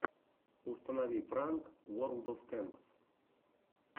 установи пранк уорлд оф тэнкс